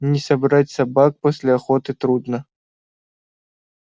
не собрать собак после охоты трудно